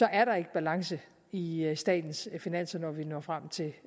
er der ikke balance i i statens finanser når vi når frem til